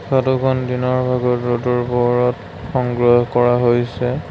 ফটোখন দিনৰ ভাগত ৰ'দৰ পোহৰত সংগ্ৰহ কৰা হৈছে।